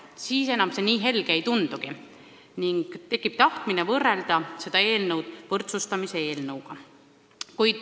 Siis see pilt nii helge ei tundugi ning tekib tahtmine võrrelda seda eelnõu võrdsustamise eelnõuga.